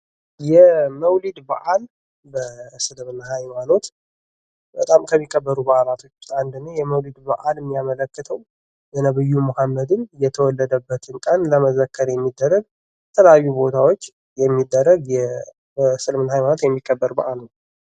የ መውሊድ በአል በእስልምና ሃይማኖት በጣም ከሚከበሩ በዓላት አንዱ ነው። የመውሊድ በአል የሚያመለክተው የነቢዩ መሐመድን የተወለደበትን ቀን ለመዘከር የሚደረግ የተለያዩ ቦታዎች የሚደረግ የእስልምና ሃይማኖት የሚከበር በዓል ነው።